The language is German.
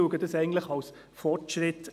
Ich sehe dies eigentlich als Fortschritt.